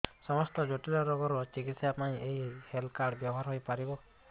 ସମସ୍ତ ଜଟିଳ ରୋଗର ଚିକିତ୍ସା ପାଇଁ ଏହି ହେଲ୍ଥ କାର୍ଡ ବ୍ୟବହାର ହୋଇପାରିବ